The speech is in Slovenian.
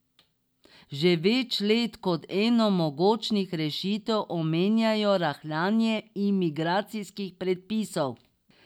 Že več let kot eno mogočih rešitev omenjajo rahljanje imigracijskih predpisov.